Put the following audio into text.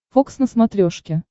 фокс на смотрешке